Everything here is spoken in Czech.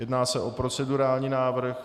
Jedná se o procedurální návrh.